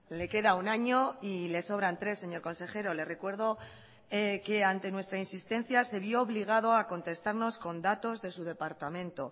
le queda un año y le sobran tres señor consejero le recuerdo que ante nuestra insistencia se vio obligado a contestarnos con datos de su departamento